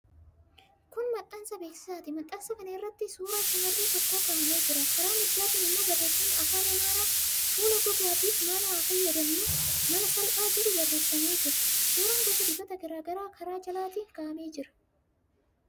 Kun maxxansa beeksisaati. Maxxansa kana irratti suuraa shamarree tokkoo kaa'amee jira. Karaa mirgaatiin immoo barreeffamni afaan Amaaraa "Fuula gogaatiif maal haa fayyadamnu? Mala salphaa" jedhu barreeffamee jira. Suuraan gosa dibataa garaa garaa karaa jalaatiin kaa'amee jira.